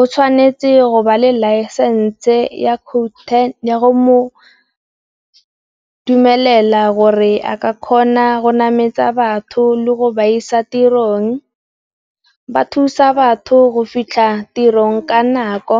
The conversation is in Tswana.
O tshwanetse go ba le laesense ya code ten ya go dumelela gore a ka kgona go nametsa batho le go ba isa tirong, ba thusa batho go fitlha tirong ka nako.